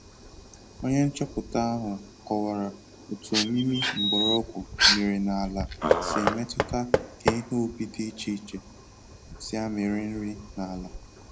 Onye nchọpụta ahụ kọwara otu omimi mgbọrọgwu miri na ala si emetuta ka ihe ubi dị iche iche si amịrị nri na ala